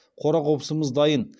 қора қопсымыз дайын